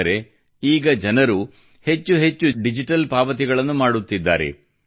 ಅಂದರೆ ಈಗ ಜನರು ಹೆಚ್ಚೆಚ್ಚು ಡಿಜಿಟಲ್ ಪಾವತಿಗಳನ್ನು ಮಾಡುತ್ತಿದ್ದಾರೆ